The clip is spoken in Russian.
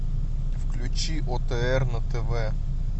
включи отр на тв